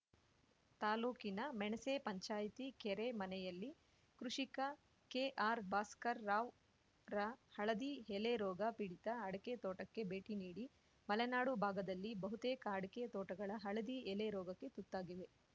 ತಾಲೂಕಿನ ಮೆಣಸೆ ಪಂಚಾಯಿತಿ ಕೆರೆಮನೆಯಲ್ಲಿ ಕೃಷಿಕ ಕೆಆರ್‌ಭಾಸ್ಕರ್‌ ರಾವ್‌ರ ಹಳದಿ ಎಲೆ ರೋಗ ಪೀಡಿತ ಅಡಕೆ ತೋಟಕ್ಕೆ ಭೇಟಿ ನೀಡಿ ಮಲೆನಾಡು ಭಾಗದಲ್ಲಿ ಬಹುತೇಕ ಅಡಕೆ ತೋಟಗಳ ಹಳದಿ ಎಲೆ ರೋಗಕ್ಕೆ ತುತ್ತಾಗಿವೆ